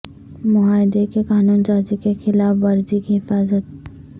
معاہدے کے قانون سازی کے خلاف ورزی کی حفاظت